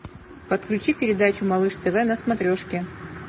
подключи передачу малыш тв на смотрешке